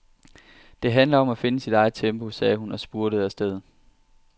Det handler om at finde sit eget tempo, sagde hun og spurtede afsted.